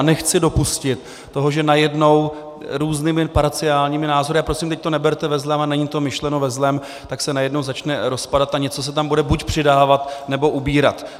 A nechci dopustit to, že najednou různými parciálními názory, a prosím, teď to neberte ve zlém a není to myšleno ve zlém, tak se najednou začne rozpadat a něco se tam bude buď přidávat, nebo ubírat.